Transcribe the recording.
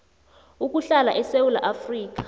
ukuhlala esewula afrika